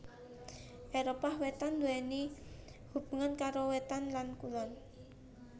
Éropah Wétan nduwèni hubungan karo wétan lan kulon